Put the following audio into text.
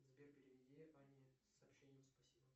сбер переведи ане с сообщением спасибо